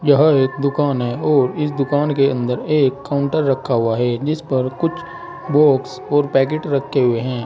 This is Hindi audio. यह एक दुकान है और इस दुकान के अंदर एक काउंटर रखा हुआ है जिस पर कुछ बॉक्स और पैकेट रखे हुए हैं।